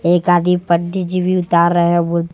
एक आदि पड़ी जी भी उतार रहे हैं भूत--